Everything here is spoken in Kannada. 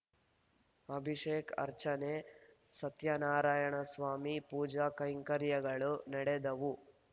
ಅಭಿಷೇಕ್ ಅರ್ಚನೆ ಸತ್ಯನಾರಾಯಣಸ್ವಾಮಿ ಪೂಜಾ ಕೈಂಕರ್ಯಗಳು ನಡೆದವು